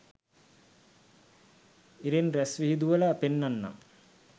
ඉරෙන් රස්විහිදුවල පෙන්නන්නම්